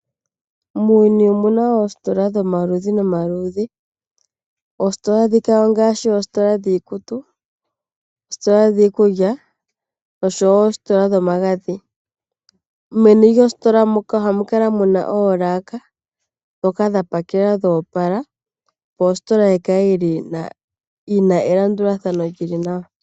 Muuyuni omuna oositola dhomaludhi nomaludhi. Oositola ndhino ongaashi, oositola dhiikutu, dhiikulya, noshowo oositola dhomagadhi. Meni lyoositola ohamu kala muna oolaaka, ndhoka dha pakelwa dho opala, opo ositola yikale yina elandulathano ewanawa.